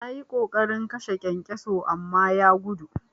Nayi ƙoƙarin kashe kyankyaso amma ya gudu.